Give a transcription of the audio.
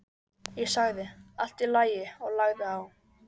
Ég sagði: Allt í lagi, og lagði á.